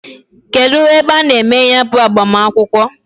Kedu ebe a na-eme ya bu agbamakwukwo?